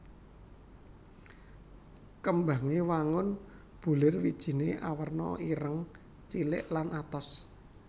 Kembangé wangun bulir Wijiné awerna ireng cilik lan atos